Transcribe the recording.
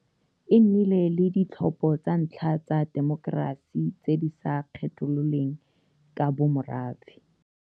e nnile le ditlhopho tsa ntlha tsa temokerasi tse di sa kgethololeng ka bo morafe.